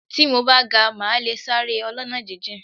Tí mo bá ga, màá le sáré ọlọ́nà jíjìn.